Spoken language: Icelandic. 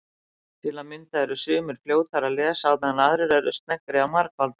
Til að mynda eru sumir fljótari að lesa á meðan aðrir eru sneggri að margfalda.